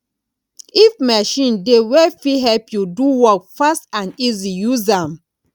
if machine dey wey fit help you do work fast and easy use am